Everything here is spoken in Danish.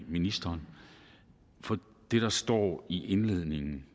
ministeren for det der står i indledningen